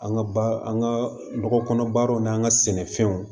An ka ba an ka nɔgɔ kɔnɔ baaraw n'an ka sɛnɛfɛnw